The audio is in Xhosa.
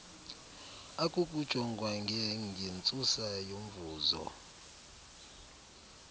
akukujongwa ngengentsusa yomvuzo